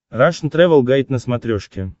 рашн тревел гайд на смотрешке